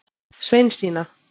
Sveinsína